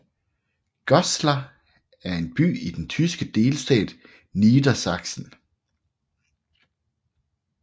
Goslar er en by i den tyske delstat Niedersachsen